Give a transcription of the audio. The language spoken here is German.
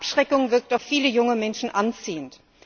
Abschreckung wirkt auf viele junge Menschen anziehend.